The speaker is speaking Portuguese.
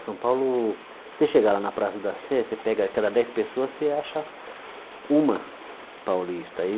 O São Paulo, você chega lá na Praça da Sé, você pega, a cada dez pessoas, você acha uma paulista.